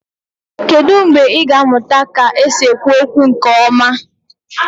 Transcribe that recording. Kedu mgbe ị ga-amụta ka esi ekwu okwu nke ọma?